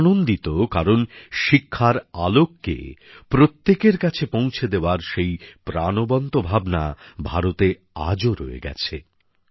আমি আনন্দিত কারণ শিক্ষার আলো প্রত্যেকের কাছে পৌঁছে দেওয়ার সেই প্রাণবন্ত ভাবনা ভারতে আজও রয়ে গেছে